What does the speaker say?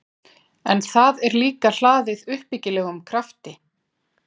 En það er líka hlaðið uppbyggilegum krafti.